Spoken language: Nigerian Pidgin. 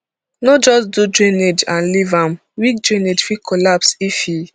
no just do drainage and leave am weak drainage fit collapse if e